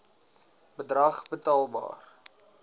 bedrag betaalbaar c